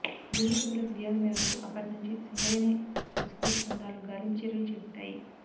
కుటుంబ సభ్యుల ఫిర్యాదు మేరకు అప్పటి నుంచి సింగరేణి రెస్క్యూ బృందాలు గాలింపు చర్యలు చేపట్టాయి